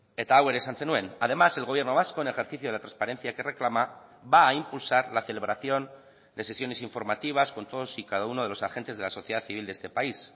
eta hau ere esan zenuen además el gobierno vasco en ejercicio de la transparencia que reclama va a impulsar la celebración de sesiones informativas con todos y cada uno de los agentes de la sociedad civil de este país